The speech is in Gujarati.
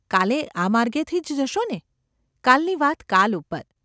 કાલે આ માર્ગેથી જ જશો ને ?’ ‘કાલની વાત કાલ ઉપર.